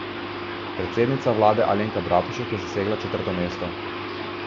Predsednica vlade Alenka Bratušek je zasedla četrto mesto.